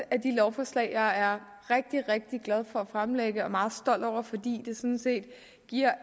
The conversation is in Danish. af de lovforslag jeg er rigtig rigtig glad for at fremlægge og meget stolt over fordi det sådan set giver